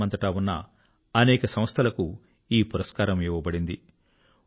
ప్రపంచమంతటా ఉన్న అనేక సంస్థలకు ఈ పురస్కారం ఇవ్వబడింది